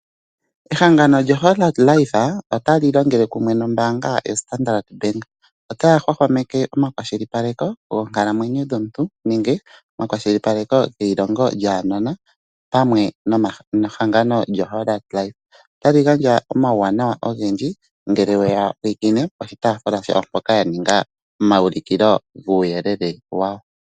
Ehangano lyo Hollard life ota li longele kumwe nombaanga ya Standard Bank. Otaya hwahwameke omakwashilipaleko lyonkalamwenyo yomuntu nenge ekwashilipaleko lyeilongo lyaanona pamwe nehangano lyo Hollard life. Otali gandja omauwanawa ogendji ngele weya pulakene piitaafula yawo mpoka ya ningila omaulikilo gomauyelele gawo.